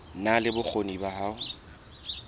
na le bokgoni ba ho